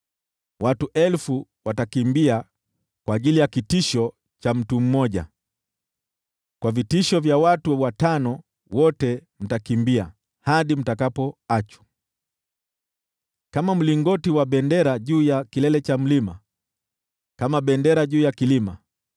Watu 1,000 watakimbia kwa ajili ya kitisho cha mtu mmoja, kwa vitishio vya watu watano wote mtakimbia, hadi mtakapoachwa kama mlingoti wa bendera juu ya kilele cha mlima, kama bendera juu ya kilima.”